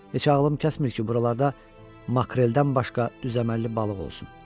Heç ağlım kəsmir ki, buralarda makreldən başqa düz əməlli balıq olsun.